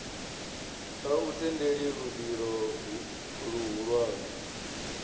a u tendeli luvhilo luhulwane